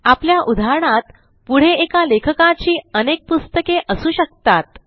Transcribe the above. आपल्या उदाहरणात पुढे एका लेखकाची अनेक पुस्तके असू शकतात